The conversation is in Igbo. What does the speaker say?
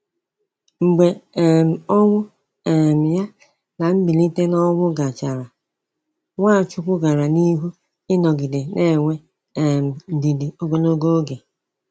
Mgbe um ọnwụ um ya na mbilite n’ọnwụ gachara, Nwachukwu gara n’ihu ịnọgide na-enwe um ndidi ogologo oge.